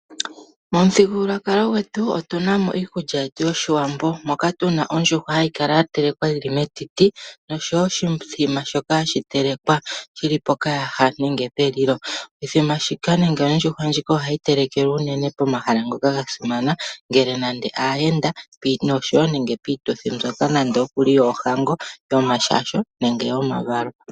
Momuthigululwakalo gwetu otuna mo iikulya Yetu yoshiwambo, moka tuna mo ondjuhwa hayi kala ya telwa yili metiti, noshowo oshimbombo shoka hashi telekwa shili pokayaha nenge pelilo. Oshimbombo shika nenge ondjuhwa ohayi telekelwa uunene pomahala ngoka ga simana ngele nande aayenda noshowo nande piituthi mbyoka yoohango, yomashasho nenge yomavalo.